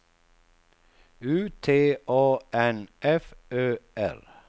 U T A N F Ö R